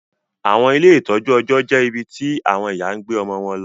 Awọn ile itọju ọjọ jẹ ibití awọn ìyá gbé ọmọ wón ló